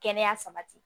Kɛnɛya sabati